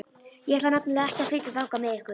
Ég ætla nefnilega ekki að flytja þangað með ykkur.